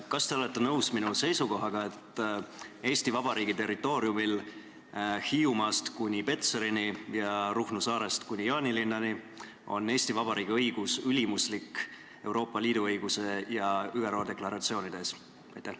Kas te olete nõus minu seisukohaga, et Eesti Vabariigi territooriumil Hiiumaast kuni Petserini ja Ruhnu saarest kuni Jaanilinnani on Eesti Vabariigi õigus ülimuslik Euroopa Liidu õiguse ja ÜRO deklaratsioonide ees?